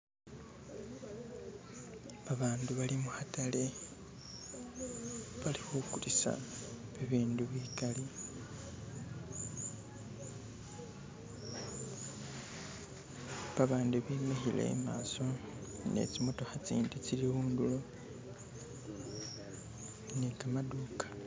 Babandu bali mukhatale, balikhukulisa bibindu bikali, babandi bemikhile i'maso ne tsi'motokha tsindi tsili khundulo ni kamaduka